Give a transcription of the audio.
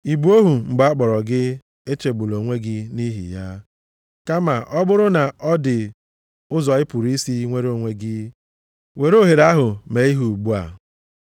Ị bụ ohu mgbe a kpọrọ gị? Echegbula onwe gị nʼihi ya. Kama ọ bụrụ na ọ dị ụzọ ị pụrụ isi nwere onwe gị, were ohere ahụ mee ihe ugbu a.